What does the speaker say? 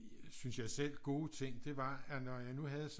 Synes jeg selv gode ting det var at når jeg nu havde